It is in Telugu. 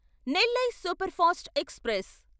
Nellai superfast express